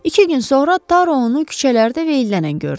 İki gün sonra Taru onu küçələrdə veyillənən gördü.